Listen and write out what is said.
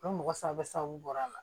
O mɔgɔ saba bɔr'a la